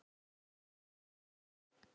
á neinni árstíð.